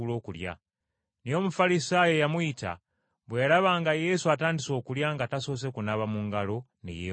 Naye Omufalisaayo eyamuyita bwe yalaba nga Yesu atandise okulya nga tasoose kunaaba mu ngalo, ne yeewuunya.